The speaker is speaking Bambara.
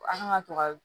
A kan ka to ka